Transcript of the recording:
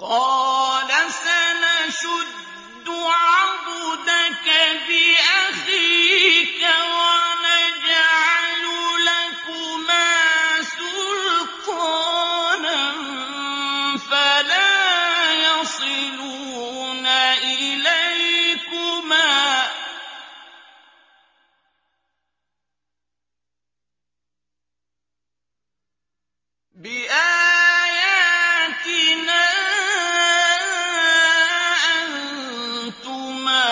قَالَ سَنَشُدُّ عَضُدَكَ بِأَخِيكَ وَنَجْعَلُ لَكُمَا سُلْطَانًا فَلَا يَصِلُونَ إِلَيْكُمَا ۚ بِآيَاتِنَا أَنتُمَا